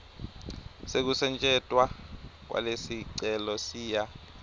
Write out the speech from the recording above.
sekusetjentwa kwalesicelo siya